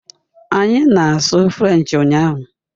Anyị na-asụ French ụnyahụ